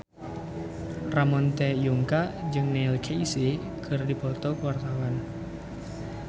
Ramon T. Yungka jeung Neil Casey keur dipoto ku wartawan